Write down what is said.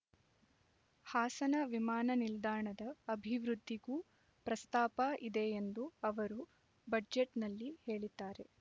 ಹಾಸನ ವಿಮಾನ ನಿಲ್ದಾಣದ ಅಭಿವೃದ್ಧಿಗೂ ಪ್ರಸ್ತಾಪ ಇದೆ ಎಂದು ಅವರು ಬಜೆಟ್‌ನಲ್ಲಿ ಹೇಳಿದ್ದಾರೆ